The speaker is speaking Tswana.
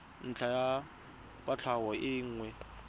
ntlha ya kwatlhao e nngwe